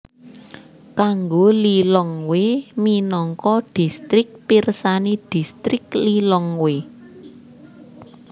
Kanggo Lilongwe minangka distrik pirsani Distrik Lilongwe